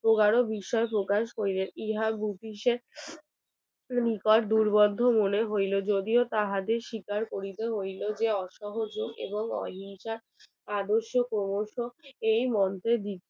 নিকট দুর্গন্ধ বলে হইল যদিও তাদের স্বীকার করিতে হইল যে অসহযোগ এবং অহিংসা আদর্শ এই মন্ত্র